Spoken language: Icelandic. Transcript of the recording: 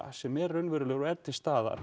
sem er raunverulegur og er til staðar